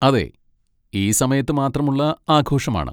അതെ, ഈ സമയത്ത് മാത്രമുള്ള ആഘോഷമാണ്.